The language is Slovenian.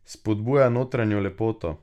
Spodbujava notranjo lepoto.